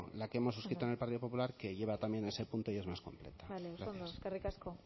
la que hemos suscrito en el partido popular que lleva también ese punto y es más completo bale oso ondo eskerrik asko